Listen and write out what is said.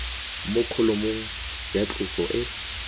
mo kholomong ya tloso e